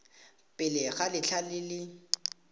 pele ga letlha le le